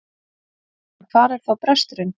En hvar er þá bresturinn?